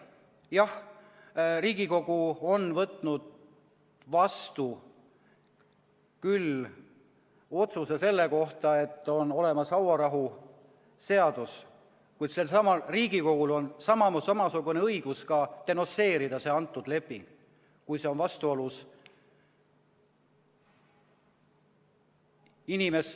Jah, Riigikogu on võtnud vastu küll otsuse selle kohta, et on olemas hauarahuleping, kuid selsamal Riigikogul on ka õigus see leping denonsseerida.